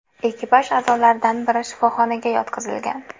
Ekipaj a’zolaridan biri shifoxonaga yotqizilgan.